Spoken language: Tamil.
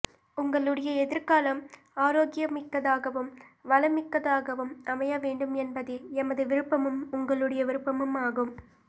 உங்களுடைய எதிர்காலம் ஆரோக்கியமிக்கதாகவும் வளம்மிக்கதாகவும் அமைய வேண்டும் என்பதே எமது விருப்பமும் உங்களுடைய விருப்பமும் ஆகும்